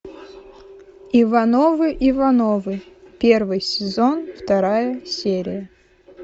ивановы ивановы первый сезон вторая серия